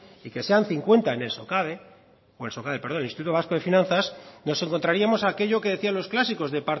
y que sean cincuenta en el instituto vasco de finanzas nos encontraríamos aquello que decían los clásicos de